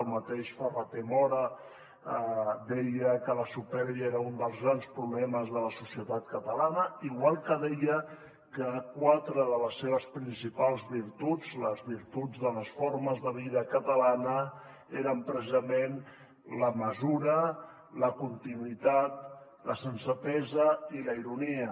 el mateix ferrater mora deia que la supèrbia era un dels grans problemes de la societat catalana igual que deia que quatre de les seves principals virtuts les virtuts de les formes de vida catalana eren precisament la mesura la continuïtat la sensatesa i la ironia